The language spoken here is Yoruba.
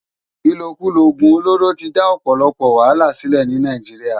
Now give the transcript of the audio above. Ilókúló ógún ólóró ti dá òpòlòpò wàhálá silè ni Nàijiriá